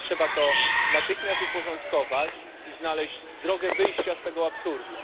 Trzeba to natychmiast uporządkować i znaleźć drogę wyjścia z tego absurdu.